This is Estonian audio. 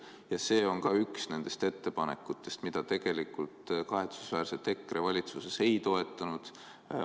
Ja see on üks nendest ettepanekutest, mida kahetsusväärselt EKRE valitsuses ei toetanud.